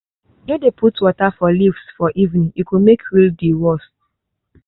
no dey put water for leaves for evening e go make mildew worse.